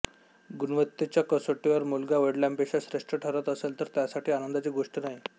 गुणवत्तेच्या कसोटीवर मुलगा वडिलांपेक्षा श्रेष्ठ ठरत असेल तर त्यासारखी आनंदाची गोष्ट नाही